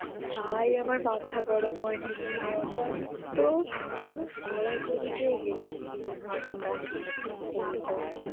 ভাই আমার মাথা গরম হয়নি শুনে ওটা আমি তো পুরো গড়াগড়ি তে হেসেছি দু'ঘণ্টা তোকে কি বলবো